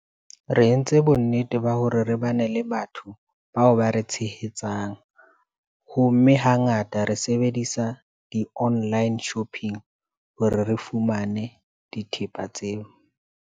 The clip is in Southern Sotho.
Re entse bonnete ba hore re bane le batho bao ba re tshehetsang ho mme, hangata re sebedisa di-online shopping hore re fumane dithepa tseo.